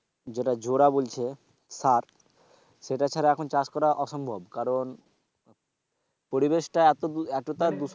যেটা জোড়া বলছে সার সেটা ছাড়া এখন চাষ করা অসম্ভব কারণ পরিবেশটা এত এতোটা দূষণ হয়ে,